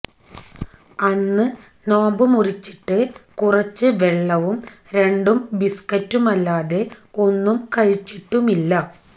അന്ന് നോമ്പ് മുറിച്ചിട്ട് കുറച്ച് വെള്ളവും രണ്ടു ബിസ്കറ്റുമല്ലാതെ ഒന്നും കഴിച്ചിട്ടുമില്ല